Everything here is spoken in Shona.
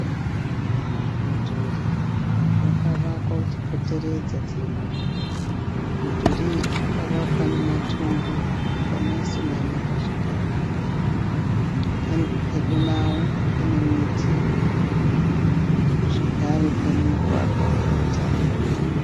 Mudhuri wakavakwa uchipoteredza dzimba. Mudhuri uyu wakavakwa nematombo akanyatsonamirwa zvakanaka. Pedo nawo pane miti zvakare pane mugwagwa une tara.